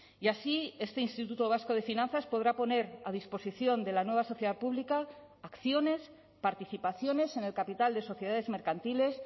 y así este instituto vasco de finanzas podrá poner a disposición de la nueva sociedad pública acciones participaciones en el capital de sociedades mercantiles